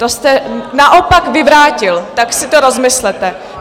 To jste naopak vyvrátil, tak si to rozmyslete.